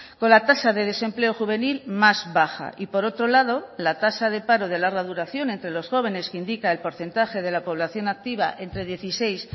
con la tasa de desempleo juvenil más baja y por otro lado la tasa de paro de larga duración entre los jóvenes que indica el porcentaje de la población activa entre dieciséis